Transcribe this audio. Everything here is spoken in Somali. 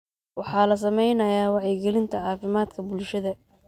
Waxaa la sameynayaa wacyigelinta caafimaadka bulshada.